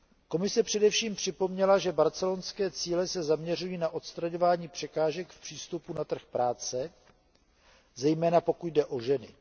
Komise především připomněla, že barcelonské cíle se zaměřují na odstraňování překážek v přístupu na trh práce, zejména pokud jde o ženy.